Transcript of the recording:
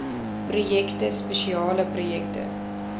projekte spesiale projekte